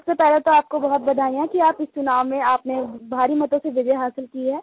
सबसे पहले तो आपको बहुत बधाइयाँ कि आप इस चुनाव में आपने भारी मतों से विजय हासिल की है